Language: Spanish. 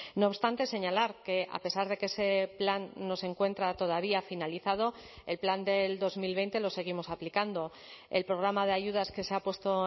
no obstante señalar que a pesar de que ese plan no se encuentra todavía finalizado el plan del dos mil veinte lo seguimos aplicando el programa de ayudas que se ha puesto